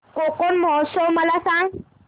कोकण महोत्सव मला सांग